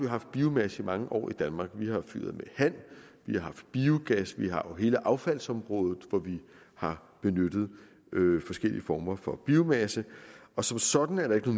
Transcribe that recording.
haft biomasse i mange år i danmark vi har fyret med halm vi har haft biogas vi har jo hele affaldsområdet hvor vi har benyttet forskellige former for biomasse og som sådan er der ikke